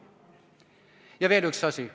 Ja veel üks asi.